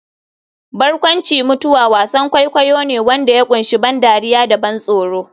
Barkwanci-mutuwa wasan kwaikwayo ne wanda ya kunshi ban dariya da ban tsoro.